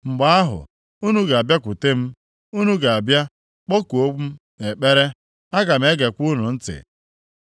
Mgbe ahụ, unu ga-abịakwute m, unu ga-abịa kpọkuokwa m nʼekpere, aga m egekwa unu ntị.